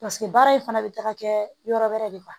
Paseke baara in fana bɛ taga kɛ yɔrɔ wɛrɛ de la